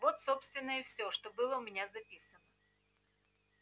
вот собственно и всё что было у меня записано